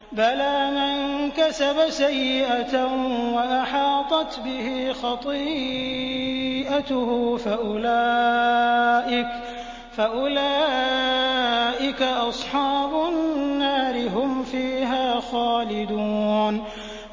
بَلَىٰ مَن كَسَبَ سَيِّئَةً وَأَحَاطَتْ بِهِ خَطِيئَتُهُ فَأُولَٰئِكَ أَصْحَابُ النَّارِ ۖ هُمْ فِيهَا خَالِدُونَ